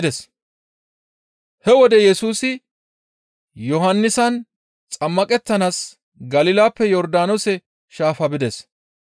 He wode Yesusi Yohannisan xammaqettanaas Galilappe Yordaanoose shaafa bides.